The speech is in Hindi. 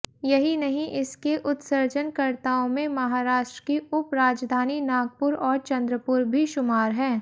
यही नहीं इसके उत्सर्जनकर्ताओं में महाराष्ट्र की उपराजधानी नागपुर और चंद्रपुर भी शुमार हैं